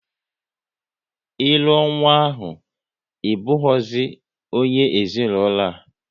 Ịlụ ọ nwa ahụ, ị bụghịzi onye ezinaụlọ a!